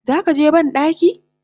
Zakaje bandaki?